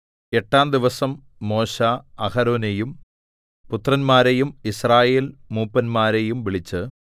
എട്ടാം ദിവസം മോശെ അഹരോനെയും പുത്രന്മാരെയും യിസ്രായേൽ മൂപ്പന്മാരെയും വിളിച്ച്